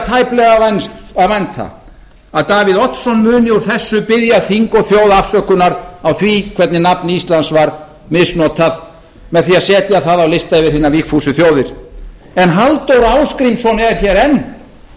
tæplega að vænta að davíð oddsson muni úr þessu biðja þing og þjóð afsökunar á því hvernig nafn íslands var misnotað með því að setja það á lista yfir hinar vígfúsu þjóðir en halldór ásgrímsson er hér enn og nú